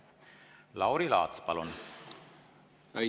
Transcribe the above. Lauri Laats, palun!